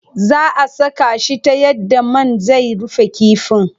Zaa a saka shi ta yadda man zai rufe kifin.